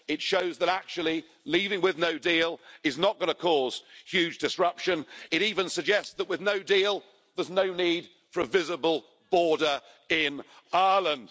It shows that actually leaving with no deal is not going to cause huge disruption it even suggests that with no deal there's no need for a visible border in Ireland.